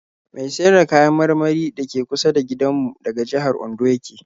Mai siyar da kayan marmari da ke kusa da gindanmu daga jihar Ondo ya ke